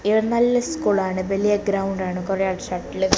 ഇത് നല്ല സ്കൂൾ ആണ് വലിയ ഗ്രൗണ്ട് ആണ് കൊറേ ആൾ ഷട്ടിൽ ക --